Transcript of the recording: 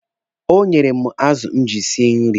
O nyere m azụ m ji esi nri.